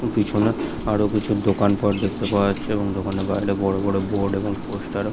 পিছনে আরো কিছু দোকানপাঠ দেখতে পাওয়া যাচ্ছে এবং দোকানের বাইরে বড় বড় বোর্ড এবং পোস্টার --